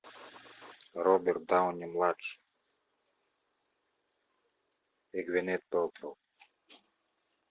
роберт дауни младший и гвинет пэлтроу